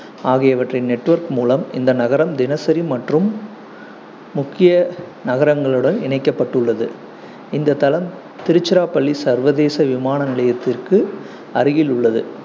ஆகியவற்றின் network மூலம் இந்த நகரம் தினசரி மற்றும் முக்கிய நகரங்களுடன் இணைக்கப்பட்டுள்ளது இந்த தளம் திருச்சிராப்பள்ளி சர்வதேச விமான நிலையத்திற்கு அருகில் உள்ளது